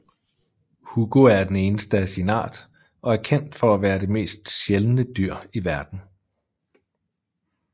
Hugo er det eneste af sin art og er kendt for at være det mest sjældne dyr i verden